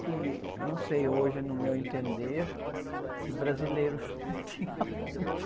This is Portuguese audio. que, não sei hoje, no meu entender, de brasileiro não tinha muito.